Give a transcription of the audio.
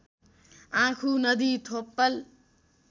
आँखु नदी थोप्पल